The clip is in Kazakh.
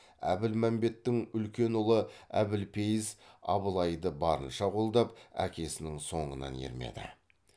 әбілмәмбеттің үлкен ұлы әбілпейіз абылайды барынша қолдап әкесінің соңынан ермеді